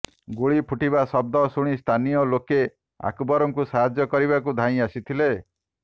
ଗୁଳି ଫୁଟିବା ଶବ୍ଦ ଶୁଣି ସ୍ଥାନୀୟ ଲୋକେ ଅକବରଙ୍କୁ ସାହାଯ୍ୟ କରିବାକୁ ଧାଇଁ ଆସିଥିଲେ